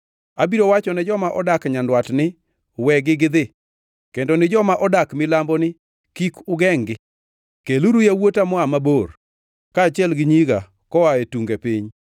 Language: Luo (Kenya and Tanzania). Abiro wachone joma odak nyandwat ni, ‘Wegi gidhi!’ Kendo ni joma odak milambo ni, ‘Kik ugengʼ-gi.’ Keluru yawuota moa mabor kaachiel gi nyiga koa e tunge piny,